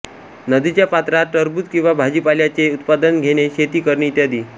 नदीच्या पात्रात टरबुज किंवा भाजीपाल्याचे उत्पादन घेने शेती करणे इत्यादी